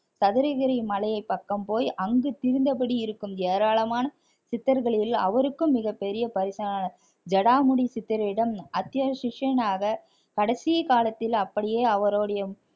சதுரகிரி மலையின் பக்கம் போய் அங்கு திரிந்தபடி இருக்கும் ஏராளமான சித்தர்களில் அவருக்கும் மிகப்பெரிய ஜடாமுடி சித்தரிடம் அத்திய சிஷ்யனாக கடைசி காலத்தில் அப்படியே அவருடைய